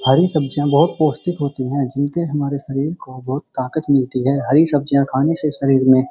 हरी सब्जियाँ बहोत पौष्टिक होती हैं जिनके हमारे शरीर को बहोत ताकत मिलती है। हरी सब्जियाँ खाने से शरीर में --